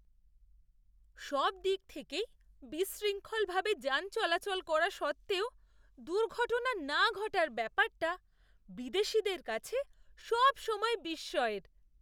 সব দিক থেকেই বিশৃঙ্খলভাবে যান চলাচল করা সত্ত্বেও দুর্ঘটনা না ঘটার ব্যাপারটা বিদেশীদের কাছে সবসময়ই বিস্ময়ের।